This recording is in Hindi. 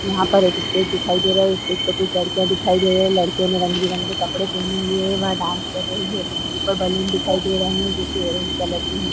यहाँ पर एक स्टेज दिखाई दे रहा है। स्टेज पे कुछ लड़कियां दिखाई दे रही हैं। लड़कियाें ने रंग बिरंगे कपड़े पहने हुए हैं। वह डांस कर रही हैं। ऊपर बलून दिखाई दे रहे हैं जो कि ऑरेंज कलर के हैं।